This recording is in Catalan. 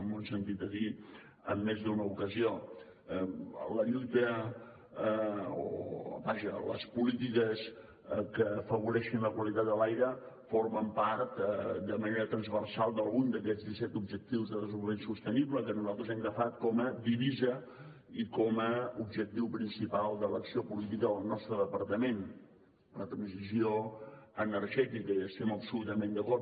m’ho han sentit a dir en més d’una ocasió les polítiques que afavoreixin la qualitat de l’aire formen part de manera transversal d’algun d’aquests disset objectius de desenvolupament sostenible que nosaltres hem agafat com a divisa i com a objectiu principal de l’acció política del nostre departament la transició energètica i hi estem absolutament d’acord